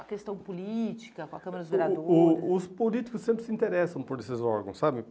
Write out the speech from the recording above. A questão política, com a Câmara dos vereadores... O o os políticos sempre se interessam por esses órgãos, sabe?